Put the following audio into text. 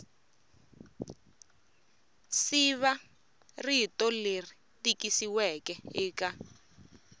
siva rito leri tikisiweke eka